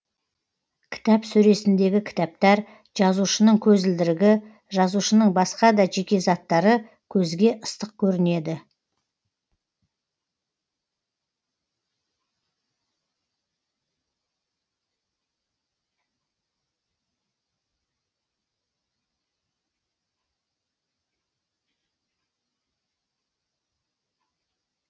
кітап сөресіндегі кітаптар жазушының көзілдірігі жазушының басқа да жеке заттары көзге ыстық көрінеді